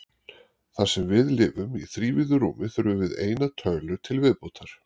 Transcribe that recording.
Þar sem við lifum í þrívíðu rúmi þurfum við eina tölu í viðbót.